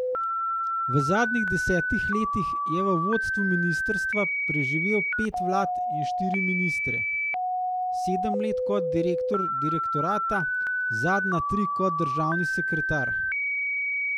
V zadnjih desetih letih je v vodstvu ministrstva preživel pet vlad in štiri ministre, sedem let kot direktor direktorata, zadnja tri kot državni sekretar.